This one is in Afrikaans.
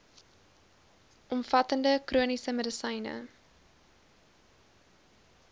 omvattende chroniese medisyne